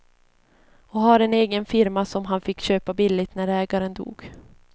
Och har en egen firma som han fick köpa billigt när ägaren dog.